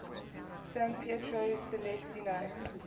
san pietro celestino